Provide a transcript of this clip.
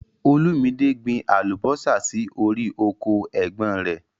Olúmídé gbìn àlúbọ̀sà sí ọ̀rì ọkọ è̩gbón rẹ̀.